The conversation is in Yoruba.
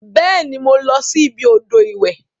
Beeni, mo losi ibi odo iwe.